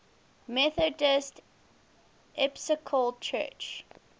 methodist episcopal church